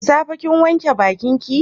Da safe kin wanke bakin ki?